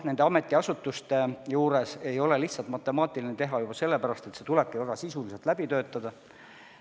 Nende ametiasutuste puhul ei ole tegu lihtsalt matemaatilise tehtega juba sellepärast, et see kõik tuleb väga sisuliselt läbi töötada.